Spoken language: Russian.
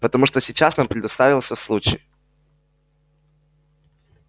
потому что сейчас нам предоставился случай